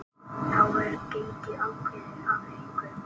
þá er gengið ákveðið af einhverjum